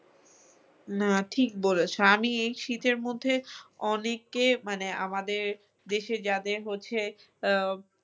না ঠিক বলেছ আমি এই শীতের মধ্যে অনেকে মানে আমাদের দেশে যাদের হচ্ছে আহ